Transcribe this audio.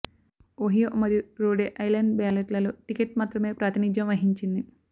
Ohio మరియు Rhode Island బ్యాలెట్లలో ticket మాత్రమే ప్రాతినిధ్యం వహించింది